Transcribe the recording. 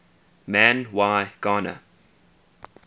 man y gana